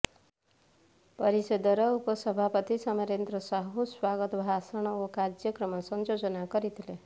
ପରିଷଦର ଉପସଭାପତି ସମରେନ୍ଦ୍ର ସାହୁ ସ୍ୱାଗତ ଭାଷଣ ଓ କାର୍ଯ୍ୟକ୍ରମ ସଂଯୋଜନା କରିଥିଲେ